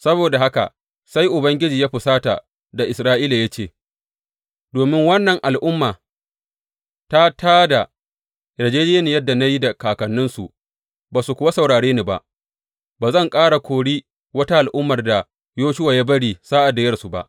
Saboda haka sai Ubangiji ya fusata da Isra’ila ya ce, Domin wannan al’umma ta tā da yarjejjeniyar da na yi da kakanninsu ba su kuwa saurare ni ba, ba zan ƙara kori wata al’ummar da Yoshuwa ya bari sa’ad da ya rasu ba.